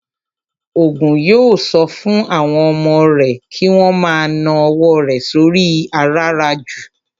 Ògún yóò sọ fún àwọn ọmọ rẹ̀ kí wón ma ná owó rẹ̀ sóri i àràràjù